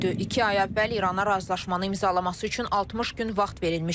İki ay əvvəl İrana razılaşmanın imzalaması üçün 60 gün vaxt verilmişdi.